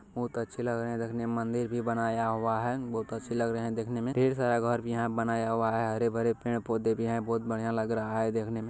बहुत अच्छे लग रहें हैं देखने में मन्दिर भी बनाया हुआ है। बहुत अच्छे लग रहें हैं देखने में। ढ़ेर सारा घर भी यहाँ बनाया हुआ है। हरे-भरे पेड़-पौधे भी हैं। बहुत बढ़िया लग रहा है देखने में।